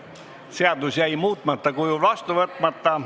Seadus jäi muutmata kujul vastu võtmata.